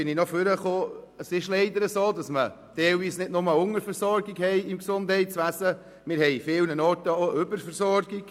Wir haben teilweise nicht nur eine Unterversorgung im Gesundheitswesen, sondern an vielen Orten auch eine Überversorgung.